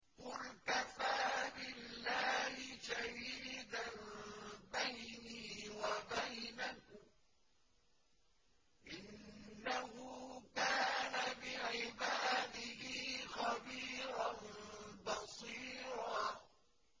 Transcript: قُلْ كَفَىٰ بِاللَّهِ شَهِيدًا بَيْنِي وَبَيْنَكُمْ ۚ إِنَّهُ كَانَ بِعِبَادِهِ خَبِيرًا بَصِيرًا